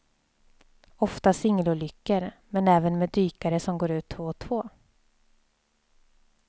Ofta singelolyckor, men även med dykare som går ut två och två.